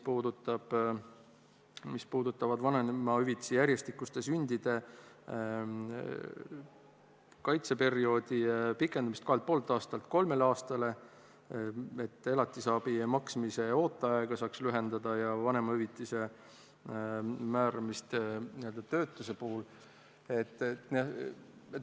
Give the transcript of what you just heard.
Need on seotud vanemahüvitisega järjestikuste sündide korral ja sellega, et seda aega pikendatakse 2,5 aastalt 3 aastale, ning ka elatisabi maksmise ooteaega saaks lühendada ja üks teema on vanemahüvitise määramine töötuse puhul.